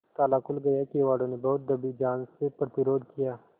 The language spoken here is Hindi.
ताला खुल गया किवाड़ो ने बहुत दबी जबान से प्रतिरोध किया